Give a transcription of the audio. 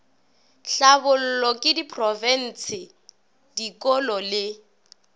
hlabollwa ke diprofense dikolo le